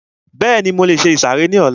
Bẹ́ẹ̀ni, mo lè se ìsàrẹ́ ní ọlá